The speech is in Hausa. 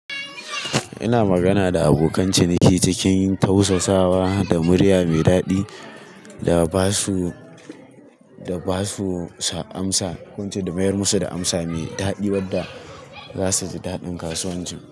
Ina magana da abokan ciniki cikin tausasawa da murya mai daɗi da ba su, da ba su amsa, ko ince da mayar musu da amsa mai daɗi wadda za su ji daɗin kasuwanci.